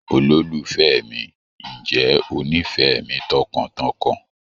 Olólùfẹ́ mi, ǹjẹ́ ó nífẹ̀ẹ́ mi tọkàntọkàn?